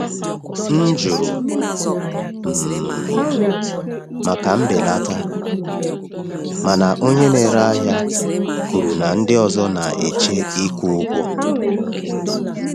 M jụrụ um maka mbelata, mana onye na-ere ahịa kwuru na ndị ọzọ na-eche ịkwụ ụgwọ.